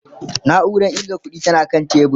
nauran ƙirga ƙuɗi tana kan tebur